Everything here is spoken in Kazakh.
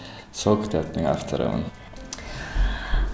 сол кітаптың авторымын